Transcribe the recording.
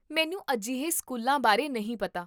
ਮੈਨੂੰ ਅਜਿਹੇ ਸਕੂਲਾਂ ਬਾਰੇ ਨਹੀਂ ਪਤਾ